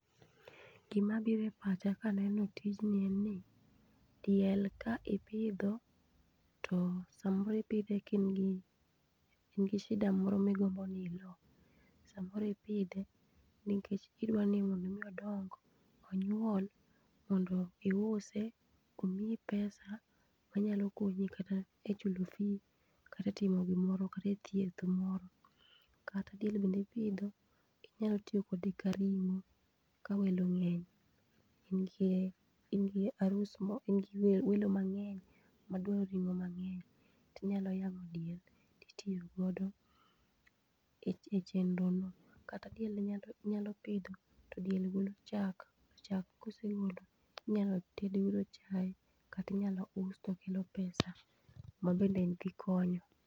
Gima biro e pacha ka aneno tijni en ni, diel ka ipidho to samoro ipidhe ka in gi shida moro ma igombo ni ilo, samoro ipidhe nikech idwani mondo mi odong onyuol, mondo iuse omiyi pesa manyalo konyi kata e chulo fee kata e timo gimoro, kata e thieth moro. Kata diel bende ipidho inyalo tiyo kode kaka ring'o ka welo ng'eny, in gi in gi arus mo in gi welo mang'eny ma dwaro ring'o mang'eny, tinyalo yang'o diel titiyo godo e e chenro no. Kata diel inyalo inyalo pidho to diel golo chak, chak ka osegolo tinyalo ted godo chai kata inyalo us to kelo pesa ma bende en gi konyo.